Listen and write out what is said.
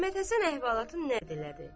Məhəmmədhəsən əhvalatın nəql elədi.